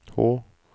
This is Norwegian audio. H